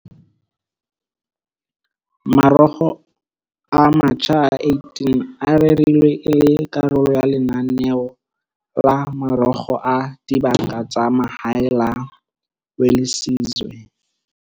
Marokgo a matjha a 18 a rerilwe e le karolo ya lenaneo la Marokgo a Dibaka tsa Mahae la Welisizwe.